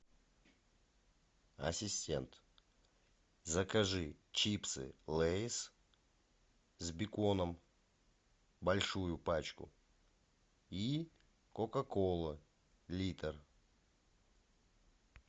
ассистент закажи чипсы лейс с беконом большую пачку и кока кола литр